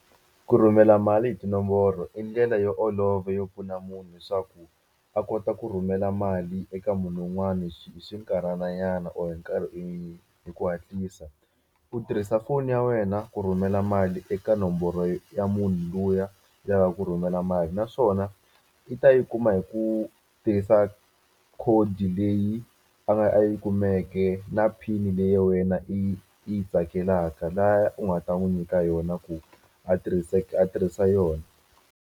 Ku rhumela mali hi tinomboro i ndlela yo olova yo pfuna munhu leswaku a kota ku rhumela mali eka munhu wun'wani hi xinkarhana nyana or hi hi ku hatlisa u tirhisa foni ya wena ku rhumela mali eka nomboro ya munhu luya ku rhumela mali naswona i ta yi kuma hi ku tirhisa code leyi a yi kumeke na pin leyi wena i yi i yi tsakelaka laya u nga ta n'wi nyika yona ku a a tirhisa yona.